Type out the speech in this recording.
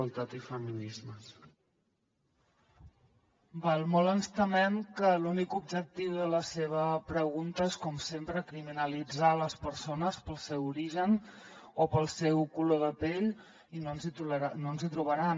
molt ens temem que l’únic objectiu de la seva pregunta és com sempre criminalitzar les persones pel seu origen o pel seu color de pell i no ens hi trobaran